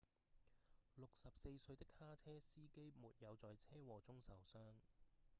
64歲的卡車司機沒有在車禍中受傷